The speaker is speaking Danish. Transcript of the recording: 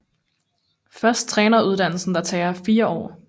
Først træneruddannelsen der tager 4 år